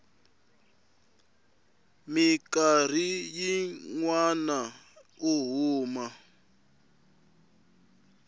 mikarhi yin wana u huma